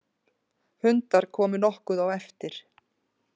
Hundar komu nokkuð á eftir.